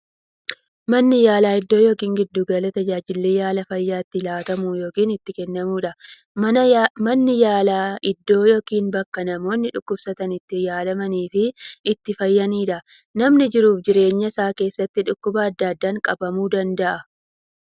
Manni yaalaa iddoo yookiin giddu gala tajaajilli yaala fayyaa itti laatamu yookiin itti kennamuudha. Manni yaalaa iddoo yookiin bakka namoonni dhukkubsatan itti yaalamaniifi itti fayyaniidha. Namni jiruuf jireenya isaa keessatti dhukkuba adda addaan qabamuu danda'a.